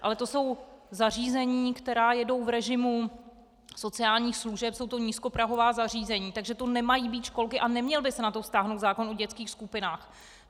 Ale to jsou zařízení, která jedou v režimu sociálních služeb, jsou to nízkoprahová zařízení, takže to nemají být školky a neměl by se na to vztáhnout zákon o dětských skupinách.